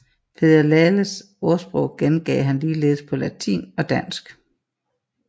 Peder Laales ordsprog gengav han ligeledes på latin og dansk